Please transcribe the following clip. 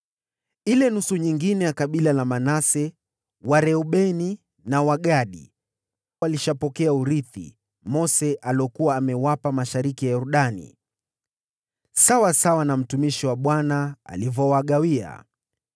Ile nusu nyingine ya Manase, Wareubeni na Wagadi, walishapokea urithi Mose aliokuwa amewapa mashariki mwa Yordani, sawasawa na mtumishi wa Bwana alivyowagawia.